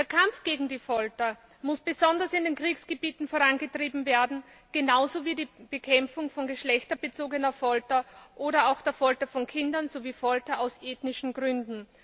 Der Kampf gegen die Folter muss besonders in Kriegsgebieten vorangetrieben werden genauso wie die Bekämpfung von geschlechterbezogener Folter oder auch der Folter von Kindern sowie Folter aus ethnischen Gründen.